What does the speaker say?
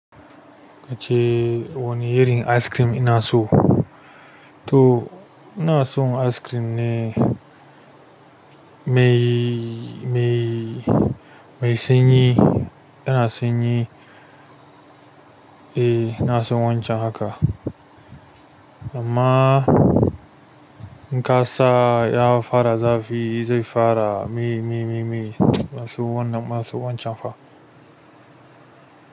Kace wanne irin ice cream ina so? To ina son ice cream ne mai san yi. Eh ina son wancan haka. Amma in ƙasa ya fara zafi zai fara mi mi mi mi. Ina son wannan, ina son wancan fa.